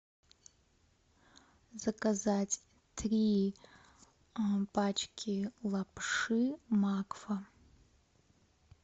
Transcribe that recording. заказать три пачки лапши макфа